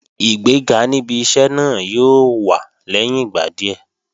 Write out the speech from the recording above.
Ìgbéga níbi iṣẹ́ náà yóò wá lẹ́yìn ìgbà díẹ̀